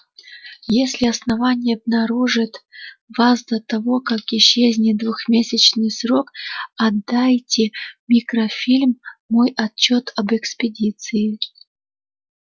если основание обнаружит вас до того как истечёт двухмесячный срок отдайте микрофильм мой отчёт об экспедиции